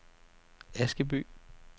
Askeby